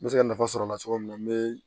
N bɛ se ka nafa sɔrɔ a la cogo min na n bɛ